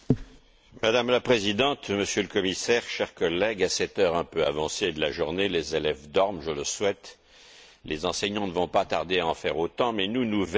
Madame la Présidente, Monsieur le Commissaire, chers collègues, à cette heure un peu avancée de la journée, les élèves dorment, je le souhaite, les enseignants ne vont pas tarder à en faire autant, mais nous, nous veillons.